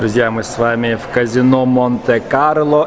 друзья мы с вами в казино монте-карло